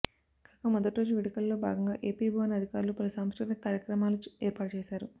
కాగా మొదటి రోజు వేడుకల్లో భాగంగా ఏపీ భవన్ అధికారులు పలు సాంస్కృతిక కార్యక్రమాలు ఏర్పాటు చేశారు